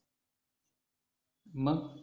मग अह